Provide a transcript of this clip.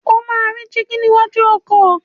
O máa rí dígí níwájú ọkọ̀.